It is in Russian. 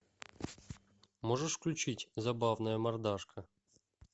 можешь включить забавная мордашка